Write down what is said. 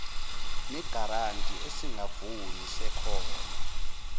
negaranti esingavuni sekhono